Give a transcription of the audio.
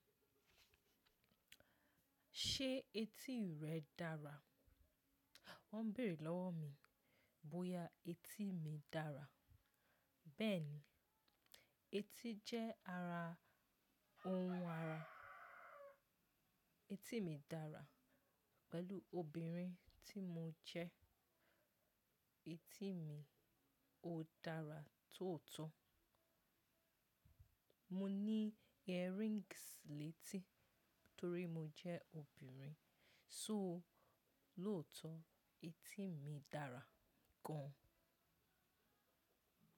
Ṣé etí rẹ dára? Wọ́n bèrè lọ́wọ́ mi bóyá etí mi dára. Bẹ́ẹ̀ni, etí jẹ́ ara ohun ara. Etí mi dára pẹ̀lú obìnrin tí mo jẹ́. Etí mi ò dára tóòótọ́. Mo ní earrings létí torí mo jẹ́ obìnrin. Sóòó lóòótọ́ etí mi dára gan.